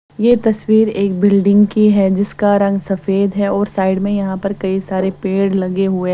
यह तस्वीर एक बिल्डिंग की है जिसका रंग सफेद है और साइड में यहां पर कई सारे पेड़ लगे हुए हैं।